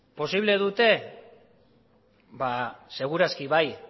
posible dute ba seguru aski bai